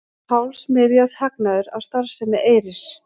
Hálfs milljarðs hagnaður af starfsemi Eyris